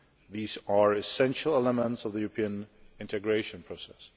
These are essential elements of the European integration process.